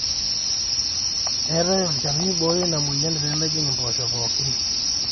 eetai olchani oibooyo ina mweyian pee mejing impoosho pooki